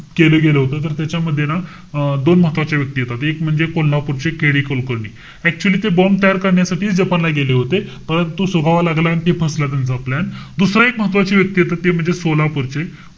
केलं गेलं होतं. त्याच्यामध्ये ना अं दोन महत्वाच्या व्यक्ती येतात. एक म्हणजे कोल्हापूरचे KD कुलकर्णी. Actually ते bomb तयार करण्यासाठी जपानला गेले होते. परंतु लागला आणि ते फसला त्यांचा plan. दुसरं एक महत्वाची व्यक्ती ते आता ते म्हणजे सोलापूर चे,